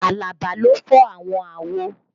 Alaba ló fọàwọn àwo